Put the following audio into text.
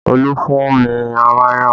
Olú fún mi mayonẹ